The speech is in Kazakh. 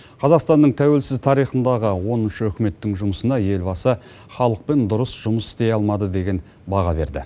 қазақстанның тәуелсіз тарихындағы оныншы үкіметтің жұмысына елбасы халықпен дұрыс жұмыс істей алмады деген баға берді